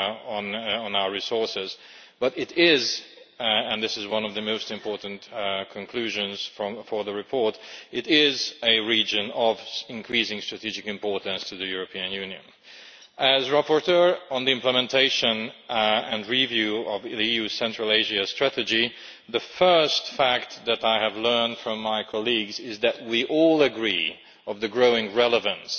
on our resources, but it is and this is one of the most important conclusions of the report a region of increasing strategic importance to the European Union. As rapporteur on the implementation and review of the EU Central Asia strategy, the first fact that I have learned from my colleagues is that we all agree on the growing relevance